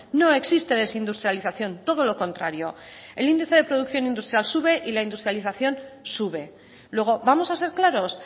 no existe desindustrialización todo lo contrario el índice de producción industrial sube y la industrialización sube luego vamos a ser claros